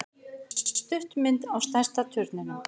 Stuttmynd á stærsta turninum